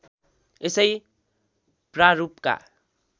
यसै प्रारूपका